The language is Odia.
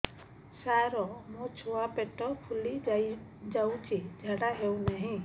ସାର ମୋ ଛୁଆ ପେଟ ଫୁଲି ଯାଉଛି ଝାଡ଼ା ହେଉନାହିଁ